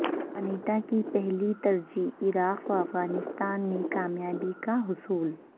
Panetta کی پہلی ترجیح عراق و افغانستان میں کامیابی کا حصول